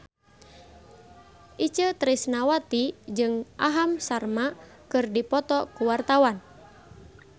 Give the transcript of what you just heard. Itje Tresnawati jeung Aham Sharma keur dipoto ku wartawan